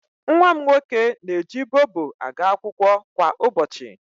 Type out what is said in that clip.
Nwa m nwoke na-eji Bobo aga akwụkwọ kwa ụbọchị.